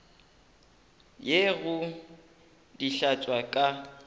ye go di hlatswa ka